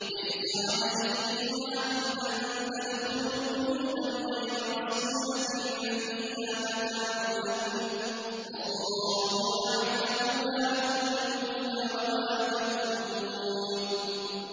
لَّيْسَ عَلَيْكُمْ جُنَاحٌ أَن تَدْخُلُوا بُيُوتًا غَيْرَ مَسْكُونَةٍ فِيهَا مَتَاعٌ لَّكُمْ ۚ وَاللَّهُ يَعْلَمُ مَا تُبْدُونَ وَمَا تَكْتُمُونَ